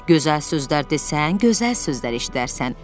Gözəl sözlər desən, gözəl sözlər eşidərsən.